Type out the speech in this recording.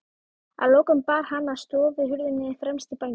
Að lokum bar hann að stofuhurðinni fremst í bænum.